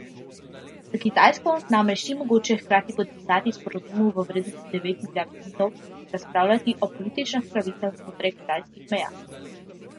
S Kitajsko namreč ni mogoče hkrati podpisati sporazumov v vrednosti devet milijard funtov in razpravljati o političnih pravicah znotraj kitajskih meja.